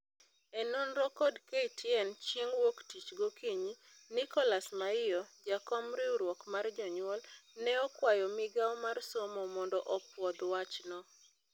E nonro kod KTN chieng' wuok tich gokinyi, Nicholas Maiyo, jakom riwruok mar jonyuol, neokwayo migao mar somo mondo opuodh wachno.